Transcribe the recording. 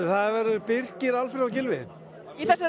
það verða Birkir Alfreð og Gylfi í þessari